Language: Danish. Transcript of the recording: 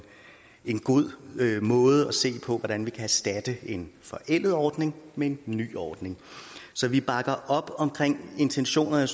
en god måde at se på hvordan vi kan erstatte en forældet ordning med en ny ordning så vi bakker op om intentionerne og